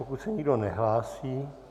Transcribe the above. Pokud se nikdo nehlásí...